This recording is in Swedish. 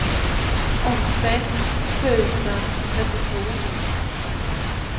åttiosex tusen trettiotvå